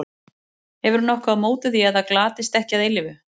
Hefurðu nokkuð á móti því að það glatist ekki að eilífu?